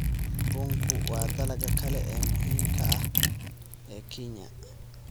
Bunku waa dalagga kale ee muhiimka ah ee Kenya.